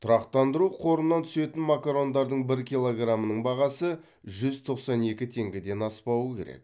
тұрақтандыру қорынан түсетін макарондардың бір килограмының бағасы жүз тоқсан екі теңгеден аспауы керек